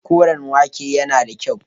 Koren wake yana da kyau.